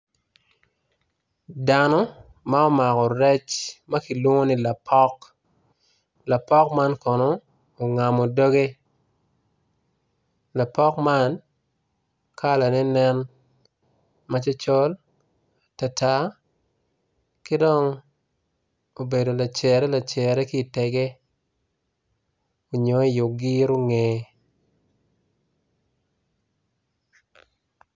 Dano ma omako rec ma ki lwongo ni lapok lapok man ongamo doge lapok man kalanen ne col tar dok obedo lacere i tega nyo i ogiro ngeye